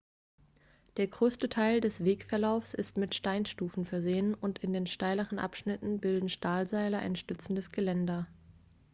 der größte teil des wegverlaufs ist mit steinstufen versehen und in den steileren abschnitten bilden stahlseile ein stützendes geländer